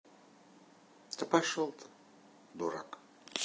да пошёл ты дурак